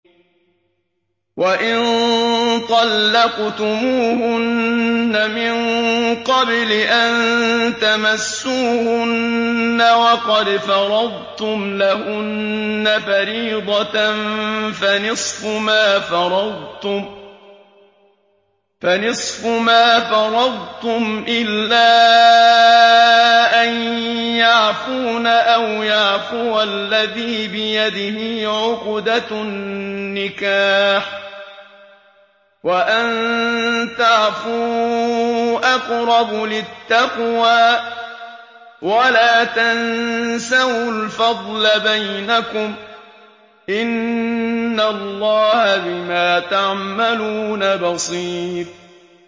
وَإِن طَلَّقْتُمُوهُنَّ مِن قَبْلِ أَن تَمَسُّوهُنَّ وَقَدْ فَرَضْتُمْ لَهُنَّ فَرِيضَةً فَنِصْفُ مَا فَرَضْتُمْ إِلَّا أَن يَعْفُونَ أَوْ يَعْفُوَ الَّذِي بِيَدِهِ عُقْدَةُ النِّكَاحِ ۚ وَأَن تَعْفُوا أَقْرَبُ لِلتَّقْوَىٰ ۚ وَلَا تَنسَوُا الْفَضْلَ بَيْنَكُمْ ۚ إِنَّ اللَّهَ بِمَا تَعْمَلُونَ بَصِيرٌ